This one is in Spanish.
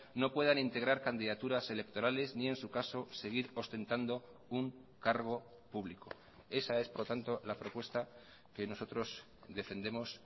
no puedan integrar candidaturas electorales ni en su caso seguir ostentando un cargo público esa es por tanto la propuesta que nosotros defendemos